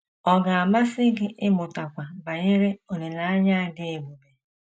Ọ̀ ga - amasị gị ịmụtakwu banyere olileanya a dị ebube?